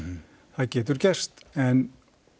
það getur gerst en